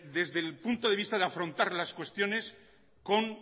desde el punto de vista de afrontar las cuestiones con